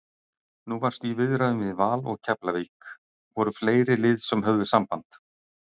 Nú varstu í viðræðum við Val og Keflavík, voru fleiri lið sem höfðu samband?